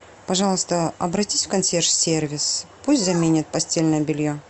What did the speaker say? пожалуйста обратись в консьерж сервис пусть заменят постельное белье